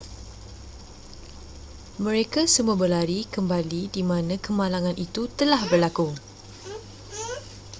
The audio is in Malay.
mereka semua berlari kembali di mana kemalangan itu telah berlaku